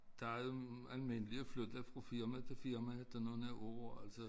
Der jo almindeligt at flytte fra firma til firma efter nogen år altså